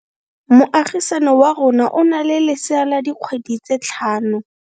Moagisane wa rona o na le lesea la dikgwedi tse tlhano.